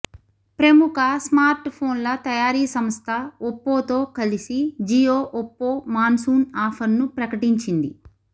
ప్రముఖ స్మార్ట్ ఫోన్ల తయారీ సంస్థ ఒప్పోతో కలిసి జియో ఒప్పో మాన్సూన్ ఆఫర్ను ప్రకటించింది